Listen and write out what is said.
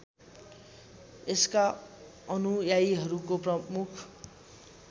यसका अनुयायीहरूको प्रमुख